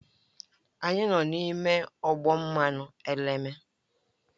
Anyị nọ n'ime ọgbọ mmanụ eleme